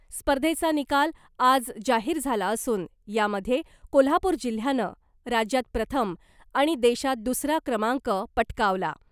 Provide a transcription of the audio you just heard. स्पर्धेचा निकाल आज जाहीर झाला असून यामध्ये कोल्हापूर जिल्ह्यानं राज्यात प्रथम आणि देशात दुसरा क्रमांक पटकावला .